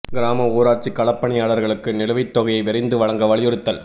கிராம ஊராட்சிக் களப் பணியாளா்களுக்கு நிலுவைத் தொகையை விரைந்து வழங்க வலியுறுத்தல்